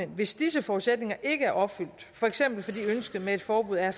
hvis disse forudsætninger ikke er opfyldt for eksempel fordi ønsket med et forbud er